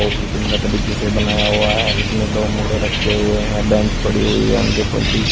बहुत ही सुंदर तरीके से बनाया हुआ है इसमें दो मोड़ें रखे हुए है बेंच पड़ी हुई है उनके प पीछे--